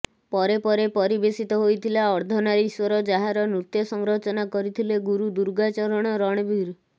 ପରେ ପରେ ପରିବେଷିତ ହୋଇଥିଲା ଅର୍ଦ୍ଧନାରୀଶ୍ୱର ଯାହାର ନୃତ୍ୟ ସଂରଚନା କରିଥିଲେ ଗୁରୁ ଦୁର୍ଗାଚରଣ ରଣବୀର